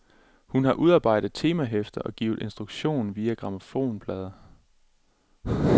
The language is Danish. Hun har udarbejdet temahæfter og givet instruktion via grammofonplader.